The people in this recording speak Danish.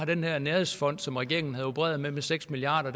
den her nærhedsfond som regeringen havde opereret med på seks milliard